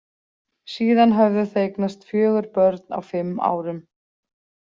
Síðan höfðu þau eignast fjögur börn á fimm árum.